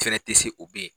Fɛrɛ tɛ se o bɛ yen